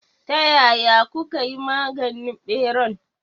Ta yaya kukayi maganin ɓeran?